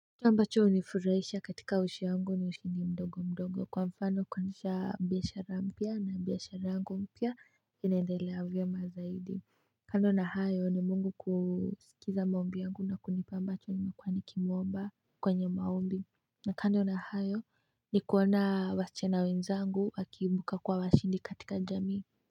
Ambacho hunifurahisha katika ushi yangu ni ushindi mdogo mdogo kwa mfano kuanzisha biashara mpya na biashara yangu mpya inaendelea vyema zaidi kando na hayo ni mungu kuskiza maombi yangu na kunipa ambacho nimekuwa nikimuomba kwa maombi na kando na hayo ni kuona wasichana wenzangu wakiibuka kuwa washindi katika jamii.